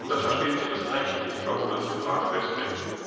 Das verstehen sie erst recht nicht, warum das im Rat festhängt.